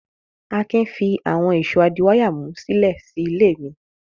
Akin fi àwọn ìṣó adíwáyàmú sílẹ̀ sí ilé mi.